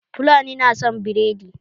Fulani na son biredi